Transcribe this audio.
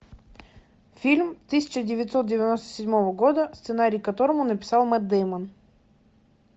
фильм тысяча девятьсот девяносто седьмого года сценарий к которому написал мэтт дэймон